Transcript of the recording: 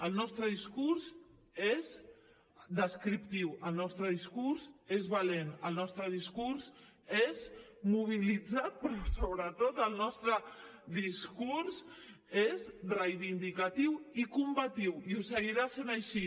el nostre discurs és descriptiu el nostre discurs és valent el nostre discurs és mobilitzat però sobretot el nostre discurs és reivindicatiu i combatiu i ho seguirà sent així